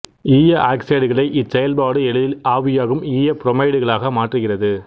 ஈய ஆக்சைடுகளை இச்செயல்பாடு எளிதில் ஆவியாகும் ஈய புரோமைடுகளாக மாற்றுகிறது